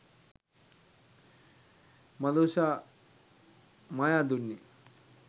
madusha mayadunne